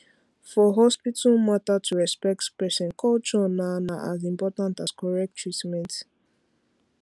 for hospital matter to respect person culture na na as important as correct treatment